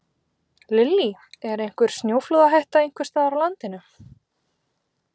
Lillý: Er einhver snjóflóðahætta einhvers staðar á landinu?